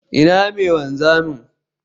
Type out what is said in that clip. Ina mai wanzami?